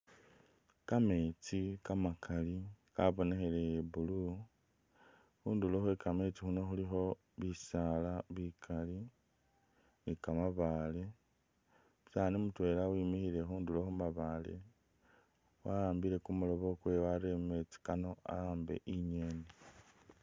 Kameetsi kamakali kabonekheleye blue, khunduro khwe kameesti khuno khulikho bisaala bikali ni kamabaale, umusaani mutwela wimikhile khunduro khumabale waambile kumurobo kwe wareye mumeetsi kano awaambe inyeeni .